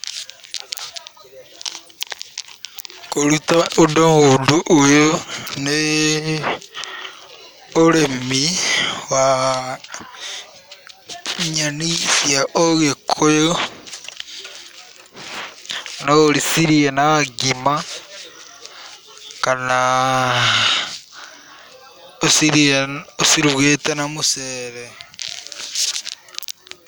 Kũruta mũndũ ũndũ ũyũ, nĩ ũrĩmi wan yeni cia ũgĩkũyũ, no ũcirĩe na ngima kana ũcirĩe ũcirugĩte na mũcere.